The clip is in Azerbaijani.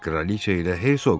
Kraliça ilə Hersoqmu?